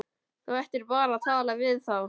Þú ættir bara að tala við þá!